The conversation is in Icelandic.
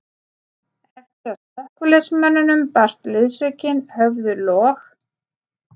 Eftir að slökkviliðsmönnunum barst liðsaukinn höfðu log